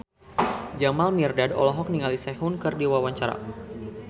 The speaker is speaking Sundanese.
Jamal Mirdad olohok ningali Sehun keur diwawancara